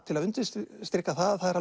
til að undirstrika það að það er